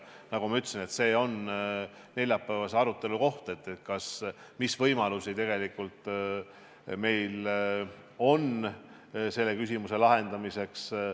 Nagu ma ütlesin, see on neljapäevase arutelu koht, mis võimalusi tegelikult meil on selle küsimuse lahendamiseks.